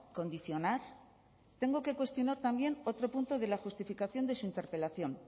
condicionar tengo que cuestionar también otro punto de la justificación de su interpelación